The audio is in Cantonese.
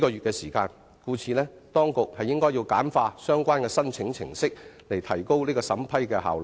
故此，當局要簡化相關申請程式，提高審批效率。